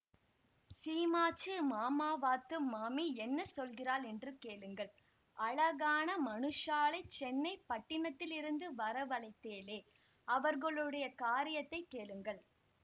சீமாச்சு மாமாவாத்து மாமி என்ன சொல்லுகிறாள் என்று கேளுங்கள் அழகான மனுஷாளைச் சென்னை பட்டினத்திலிருந்து வரவழைத்தேளே அவர்களுடைய காரியத்தைக் கேளுங்கள்